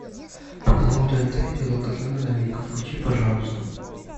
по каналу тнт идет долгожданная новинка включи пожалуйста